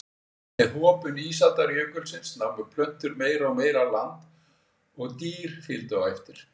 Með hopun ísaldarjökulsins námu plöntur meira og meira land og dýr fylgdu á eftir.